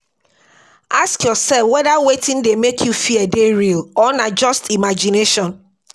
Ask yourself weda wetin dey make you fear dey real or na just imagination